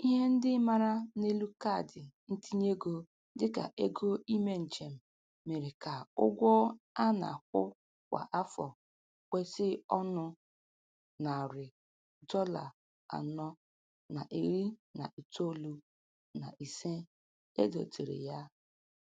Ihe ndị mara n'elu kaadị ntinyeego dịka ego ime njem mere ka ụgwọ a na-akwụ kwa afọ kwesi ọnụ narị dọla anọ na iri na iri itoolu na ise e dobere ya.